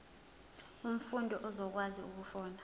umfundi uzokwazi ukufunda